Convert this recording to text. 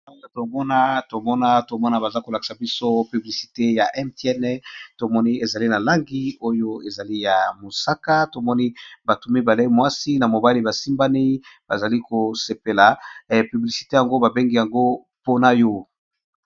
Banda tomona tomona, tomona baza ko lakisa biso publicité ya mtn , to moni ezali na langi oyo ezali ya mosaka, to moni batu mibale mwasi na mobali ba simbani ba zali ko sepela publicité yango ba bengi yango pona yo .